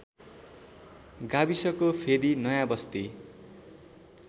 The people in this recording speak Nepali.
गाविसको फेदि नयाँबस्ती